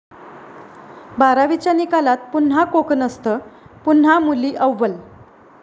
बारावीच्या निकालात पुन्हा 'कोकणस्थ', पुन्हा मुली अव्वल!